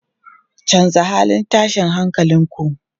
Canza halin tashin hankalin ku!